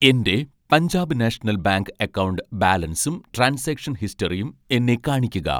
എൻ്റെ Punjab national bank account ബാലൻസും transaction ഹിസ്റ്ററിയും എന്നെ കാണിക്കുക.